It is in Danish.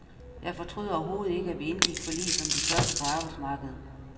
Jeg fortryder overhovedet ikke, at vi indgik forlig som de første på arbejdsmarkedet.